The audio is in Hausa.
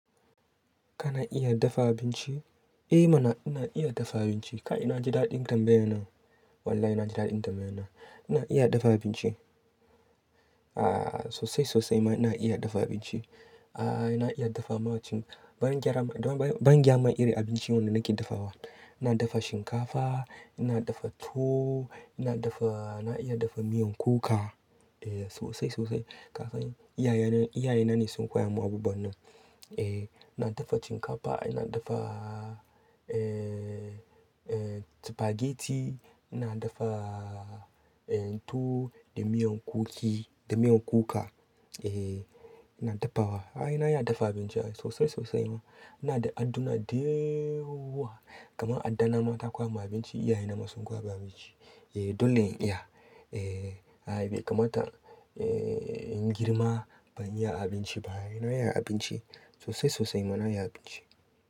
Kana iya dafa abinci? Eh mana ina iya dafa abinci. Kai na ji daɗin tambayan nan. Wallahi ina ji daɗin tambayan nan. Ina iya dafa abinci. Aaa sosai sosai ma ina iya dafa abinci. Aaa ina iya dafa ma wancan, bangyaran, bangyaman iri abinci wanda nake dafawa. Ina dafa shinkafa, ina dafa tuwo, ina dafa, ina iya dafa miyan kuka. Eh sosai sosai. Kafin iyaye, iyaye na ne sun koya mun abubuwan nan. Eh ina dafa shinkafa, ina dafaaa eh eh spaghetti, ina dafaaa eh tuwo da miyan kukki, da miyan kuka. Eh ina dafawa. Aaa ai na iya dafa abinci sosai sosai ma. Ina da addu'na dayaaawa. Kamar addana ma ta koya mun abinci, iyaye na ma sun koya min abinci. Eh dole in iya. Eh ai be kamata eh in girma ban iya abinci ba. Na iya abinci sosai sosai ma na iya abinci.